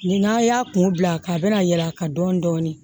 Ni n'a y'a kun bila a kan a bɛ na yɛlɛ a kan dɔɔni dɔɔni